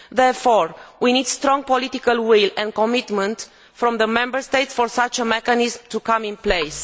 Therefore, we need strong political will and commitment from the Member States for such a mechanism to come into place.